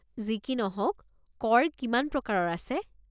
যি কি নহওক, কৰ কিমান প্ৰকাৰৰ আছে?